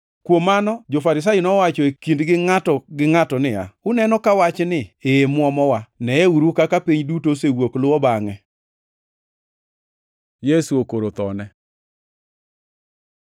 Kuom mano, jo-Farisai nowacho e kindgi ngʼato gi ngʼato niya, “Uneno ka wachni e muomowa. Neyeuru kaka piny duto osewuok luwo bangʼe!” Yesu okoro thone